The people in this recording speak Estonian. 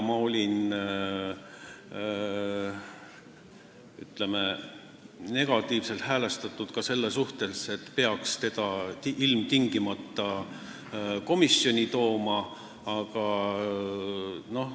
Ma olin negatiivselt häälestatud ka selle suhtes, kas peaks teda ilmtingimata komisjoni tooma.